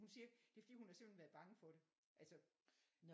Hun siger det er fordi hun simpelthen har været bange for det altså